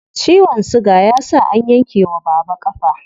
Ciwon siga ya sa an yanke wa baba ƙafa.